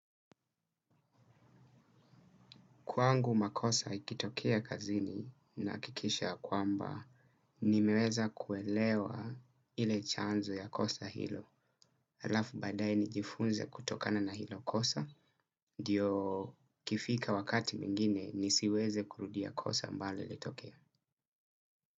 Kwangu makosa ikitokea kazini nahakikisha ya kwamba nimeweza kuelewa ile chanzo ya kosa hilo. Alafu badae nijifunze kutokana na hilo kosa. Ndio ikifika wakati mingine nisiweze kurudia kosa ambalo lilitokea.